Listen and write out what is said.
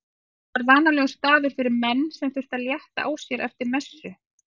Það var vanalegur staður fyrir menn sem þurftu að létta á sér eftir messu.